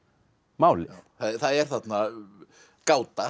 málið það er þarna gáta